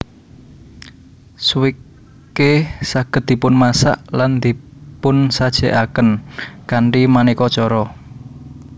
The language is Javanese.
Swike saged dipunmasak lan dipunsajèkaken kanthi manéka cara